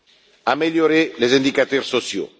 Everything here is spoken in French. et améliorer les indicateurs sociaux.